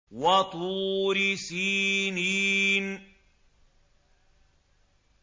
وَطُورِ سِينِينَ